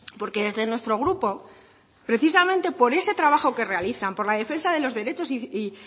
porque desde nuestro grupo precisamente por ese trabajo que realizan por la defensa de los derechos y